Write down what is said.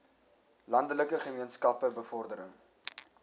landelike gemeenskappe bevordering